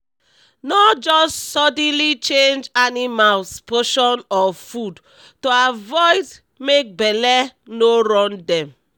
no just suddenly change animals potion of food to avoid make belle no run dem